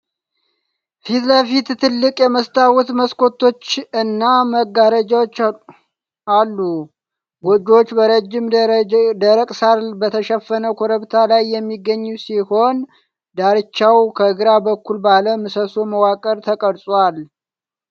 ት ለፊቱ ትልቅ የመስታወት መስኮቶች እና መጋረጃዎች አሉት። ጎጆው በረጅም ደረቅ ሣር በተሸፈነ ኮረብታ ላይ የሚገኝ ሲሆን፣ ዳርቻው ከግራ በኩል ባለ ምሰሶ መዋቅር ተቀርጿል።